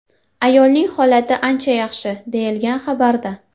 Ayolning holati ancha yaxshi”, deyilgan xabarda.